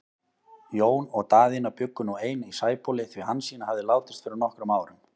Jón og Daðína bjuggu nú ein í Sæbóli, því Hansína hafði látist fyrir nokkrum árum.